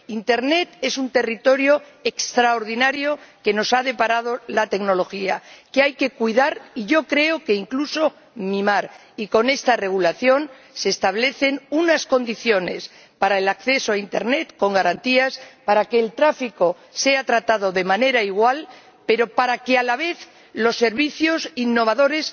Internet es un territorio extraordinario que nos ha deparado la tecnología, que hay que cuidar —y yo creo que incluso mimar—, y con este Reglamento se establecen unas condiciones para el acceso a internet con garantías, para que el tráfico sea tratado de manera igual, pero para que, a la vez, los servicios innovadores